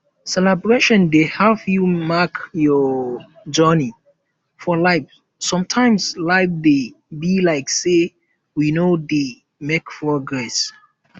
celebration dey um help you mark your um journey for life sometimes life dey um be like sey we no dey make progress